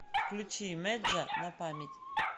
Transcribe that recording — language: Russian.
включи меджа на память